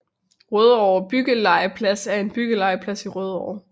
Rødovre Byggelegeplads er en byggelegeplads i Rødovre